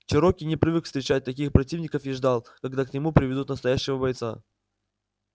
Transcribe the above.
чероки не привык встречать таких противников и ждал когда к нему приведут настоящего бойца